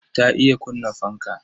Ta iya kunna fanka.